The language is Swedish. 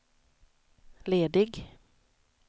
ledig